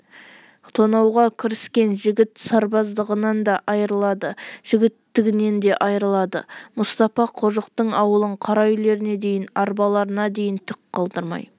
тонауға кіріскен жігіт сарбаздығынан да айрылады жігіттігінен де айрылады мұстапа қожықтың ауылын қара үйлеріне дейін арбаларына дейін түк қалдырмай